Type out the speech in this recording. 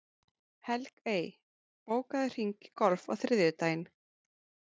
Helgey, bókaðu hring í golf á þriðjudaginn.